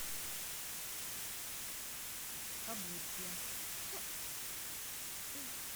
облучье